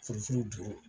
Furu furu don